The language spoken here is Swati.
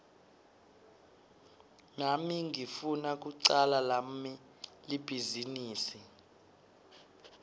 nami ngifuna kucala lami libhizinisi